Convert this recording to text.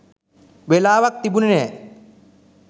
වෙලාවක් තිබුනේ නැහැ.